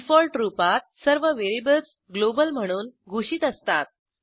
default रूपात सर्व variables global म्हणून घोषित असतात